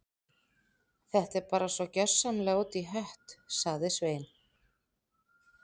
Þetta er bara svo gjörsamlega út í hött- sagði Svein